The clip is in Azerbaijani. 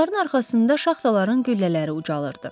Onların arxasında şaxtaların güllələri ucalırdı.